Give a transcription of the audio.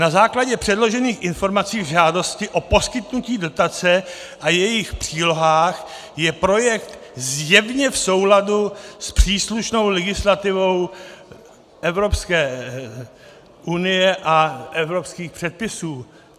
Na základě předložených informací k žádosti o poskytnutí dotace a jejich přílohách je projekt zjevně v souladu s příslušnou legislativou Evropské unie a evropských předpisů.